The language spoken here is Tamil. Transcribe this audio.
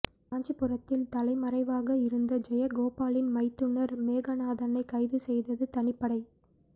காஞ்சிபுரத்தில் தலைமறைவாக இருந்த ஜெயகோபாலின் மைத்துனர் மேகநாதனை கைது செய்தது தனிப்படை